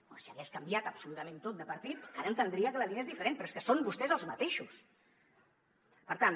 home si hagués canviat absolutament tot de partit encara entendria que la línia fos diferent però és que són vostès els mateixos per tant